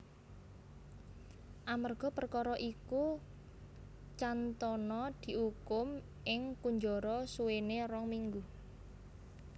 Amerga perkara iku Cantona diukum ing kunjara suwene rong minggu